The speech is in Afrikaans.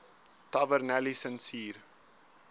tavernelisensier